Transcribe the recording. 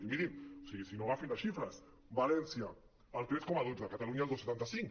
i mirin si no agafin les xifres valència el tres coma dotze catalunya el dos coma setanta cinc